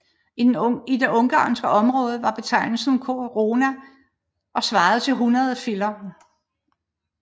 I det ungarske område var betegnelsen korona og svarede til 100 filler